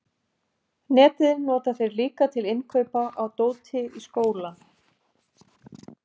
Netið nota þeir líka til innkaupa á dóti í skóinn.